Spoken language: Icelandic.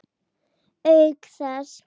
Auk þess.